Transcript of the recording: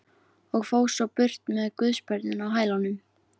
Og fór svo burt með guðsbörnin á hælunum.